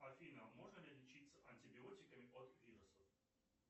афина можно ли лечиться антибиотиками от вирусов